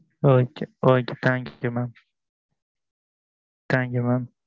ok ok thank you mam thank you mam